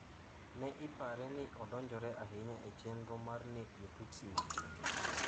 Ne ipare ni ne odonjore ahinya e chenro mar nek Jo-Tutsi matin.